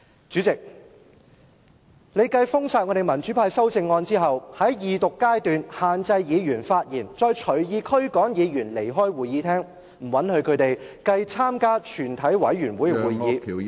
主席，你繼封殺民主派的修正案後，在二讀階段限制議員發言，再隨意驅趕議員離開會議廳，不允許他們參與全體委員會階段......